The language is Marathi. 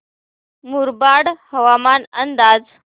मुरबाड हवामान अंदाज